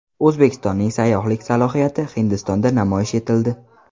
O‘zbekistonning sayyohlik salohiyati Hindistonda namoyish etildi.